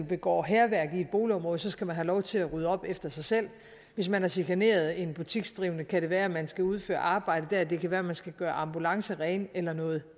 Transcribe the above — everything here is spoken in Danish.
begår hærværk i et boligområde så skal man have lov til at rydde op efter sig selv hvis man har chikaneret en butiksdrivende kan det være at man skal udføre arbejde der eller det kan være at man skal gøre ambulancer rene eller noget